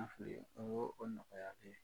An fɛ yen wa? Ɔwɔ o nɔgɔya tɛ